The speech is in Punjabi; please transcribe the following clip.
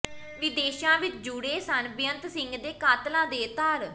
ਵਿਦੇਸ਼ਾਂ ਵਿੱਚ ਜੁੜੇ ਸਨ ਬੇਅੰਤ ਸਿੰਘ ਦੇ ਕਾਤਲਾਂ ਦੇ ਤਾਰ